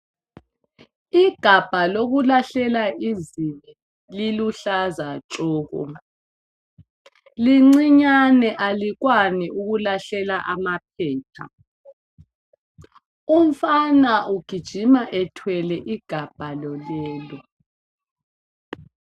Igabha lokulahlela izibi liluhlaza tshoko! Lincinyane alikwani ukulahlela amaphepa. Umfana ugijima ethwele igabha lolelo.